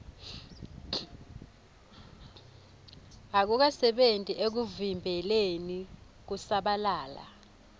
akukasebenti ekuvimbeleni kusabalala